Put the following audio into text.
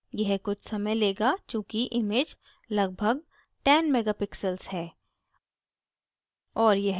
यह कुछ समय mega चूँकि image लगभग 10 megapixels है